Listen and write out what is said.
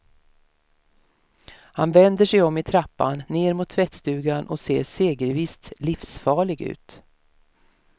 Han vänder sig om i trappan ner mot tvättstugan och ser segervisst livsfarlig ut.